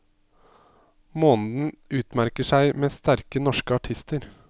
Måneden utmerker seg med sterke norske artister.